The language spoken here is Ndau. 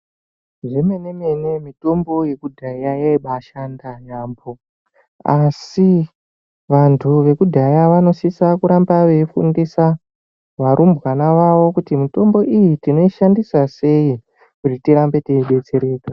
Zvemenemene mitombo yekudhaya yaibaashanda yamho asi vantu vekudhaya vanosisa kuramba veifundisa varumbwana vavo kuti mitombo iyi tinoishandisa sei kuti tirambe teidetsereka.